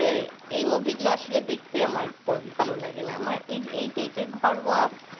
এই movie গুলো আসলে আমার দেখতে ভালো লাগে না। মানে এই type এর ঘরোয়া